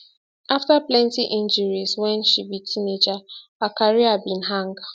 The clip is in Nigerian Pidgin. afta plenty injuries wen she be teenager her career bin hang